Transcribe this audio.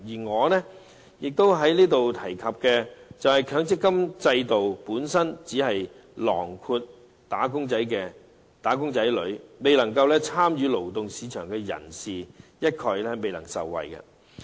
我想在這裏提出的是，強積金制度只涵蓋"打工仔女"，未有參與勞動市場的人一概未能受惠。